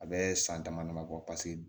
A bɛ san dama dama bɔ paseke